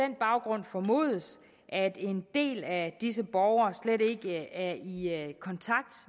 den baggrund formodes at en del af disse borgere slet ikke er i kontakt